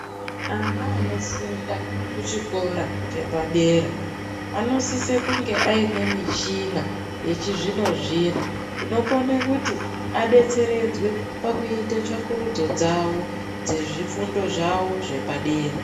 Ana anofunda kuchikora chepadera, anosise kunge aine mishina yechizvino-zvino. Inokone kuti abetseredzwe kuite tsvakurudzo dzezvifundo zvavo zvepadera.